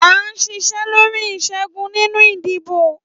À ń ṣiṣẹ́ lórí ìṣẹ́gun nínú ìdìbò.